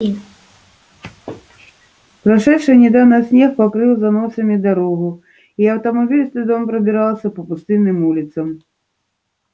прошедший недавно снег покрыл заносами дорогу и автомобиль с трудом пробирался по пустынным улицам